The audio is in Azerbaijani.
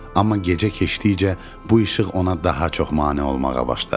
Amma gecə keçdikcə bu işıq ona daha çox mane olmağa başladı.